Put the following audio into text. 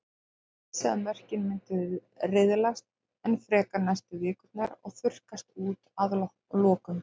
Hann vissi að mörkin myndu riðlast enn frekar næstu vikurnar og þurrkast út að lokum.